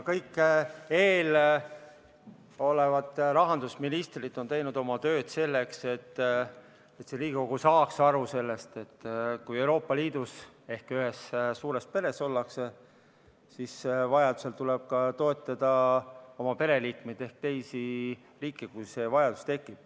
Kõik eelmised rahandusministrid on teinud tööd selleks, et Riigikogu saaks aru sellest, et kui Euroopa Liidus ehk ühes suures peres ollakse, siis vajaduse korral tuleb ka toetada oma pereliikmeid ehk teisi riike.